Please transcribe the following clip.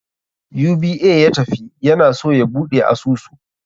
UBA ya tafi, ya na so ya buɗe asusu.